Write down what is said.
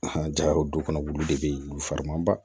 jaw du kɔnɔ wulu de bɛ yen wulu farimanba